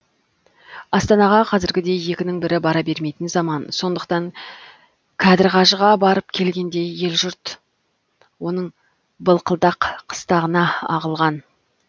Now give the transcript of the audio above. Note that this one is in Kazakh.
астанаға қазіргідей екінің бірі бара бермейтін заман сондықтан кәдір қажыға барып келгендей ел жұрт оның былқылдақ қыстағына ағылған